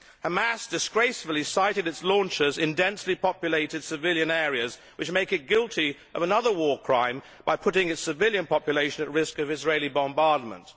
Hamas disgracefully sited its launchers in densely populated civilian areas, which make it guilty of another war crime by putting its civilian population at risk of Israeli bombardment.